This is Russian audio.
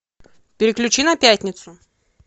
переключи на пятницу